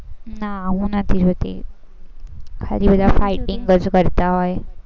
ના હું નથી જોતી, એમાં fighting જ કરતા હોય